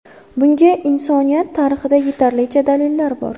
Bunga insoniyat tarixida yetarlicha dalillar bor.